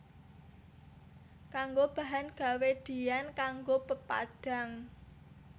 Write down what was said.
Kanggo bahan gawé diyan kanggo pepadhang